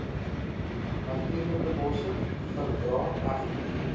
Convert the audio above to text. natuurlikebosse verdra egter